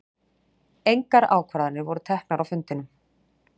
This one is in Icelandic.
Engar ákvarðanir voru teknar á fundinum